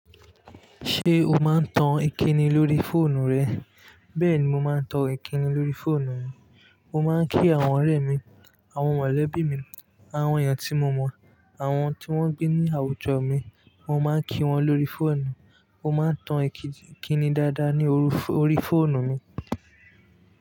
Ṣé o máa ń tan ìkíni lórí fóònù rẹ? Bẹ́ẹ̀ ni mo máa ń tan ìkíni lórí fóònù mi. Mo máa ń kí àwọn ọ̀rẹ́ mi, àwọn mọ̀lẹ́bí mi, àwọn èèyàn tí mo mọ̀, àwọn tí wọ́n gbé ní àwùjọ mi, mo máa ń kí wọn lórí fóònù. Mo máa ń tan ìkíni dáadáa ní orí, orí fóònù mi.